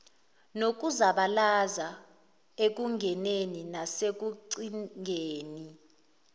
nokuzabalaza ekungeneni nasekucingeni